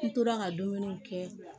N tora ka dumuniw kɛ